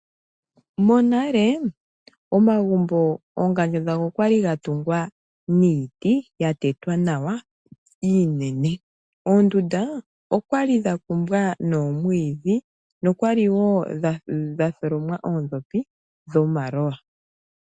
Monale omagumbo oongandjo okwali dhatungwa niiti yatetwa nawa iinene. Oondunda okwali dhakumbwa noomwiidhi okwali wo dhatholomenwa oondhopi dhomalowa.